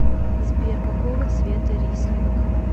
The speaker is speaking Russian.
сбер какого цвета рислинг